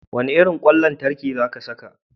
Wane irin kwan lantarki za ka saka?